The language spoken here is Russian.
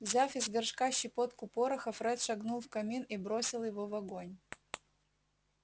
взяв из горшка щепотку пороха фред шагнул в камин и бросил его в огонь